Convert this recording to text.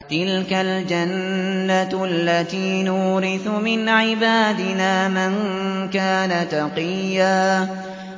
تِلْكَ الْجَنَّةُ الَّتِي نُورِثُ مِنْ عِبَادِنَا مَن كَانَ تَقِيًّا